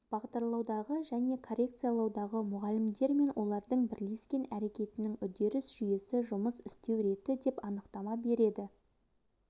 бағдарлаудағы және коррекциялаудағы мұғалімдер мен оқушылардың бірлескен әрекетінің үдеріс жүйесі жұмыс істеу реті деп анықтама береді